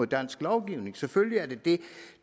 dansk lovgivning selvfølgelig er det det